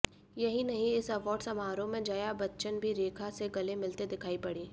यही नहीं इस अवार्ड समारोह में जया बच्चन भी रेखा से गले मिलते दिखायी पड़ीं